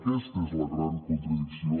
aquesta és la gran contradicció